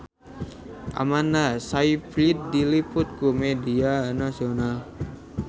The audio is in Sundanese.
Amanda Sayfried diliput ku media nasional